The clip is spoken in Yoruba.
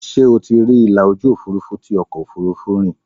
Ṣé o ti rí ìlà ojú Òfurufú tí ọkọ̀ Òfurufú rí?